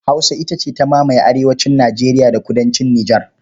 Hausa ita ta mamaye arewacin Nijeriya da kudancin Nijar.